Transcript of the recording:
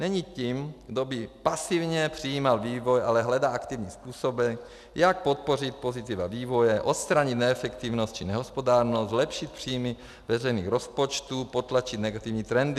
Není tím, kdo by pasivně přijímal vývoj, ale hledá aktivním způsobem, jak podpořit pozitiva vývoje, odstranit neefektivnost či nehospodárnost, zlepšit příjmy veřejných rozpočtů, potlačit negativní trendy.